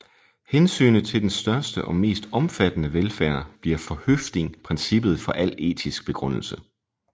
Hensynet til den største og mest omfattende velfærd bliver for Høffding princippet for al etisk begrundelse